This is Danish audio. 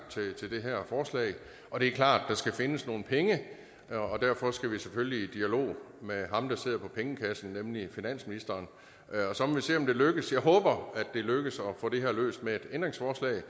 til det her forslag det er klart at der skal findes nogle penge derfor skal vi selvfølgelig i dialog med ham der sidder på pengekassen nemlig finansministeren så må vi se om det lykkes jeg håber det lykkes at få det her løst med et ændringsforslag